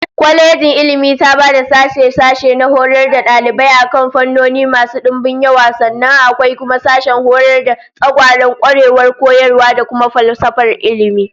Kwalejin Ilmi taba da sashe-sashe na horar da dalibai akan fannoni masu dimbin yawa, sannan akwai kuma sashen horar da tsagwaron kwarewar koyarwa da kuma falsafar ilmi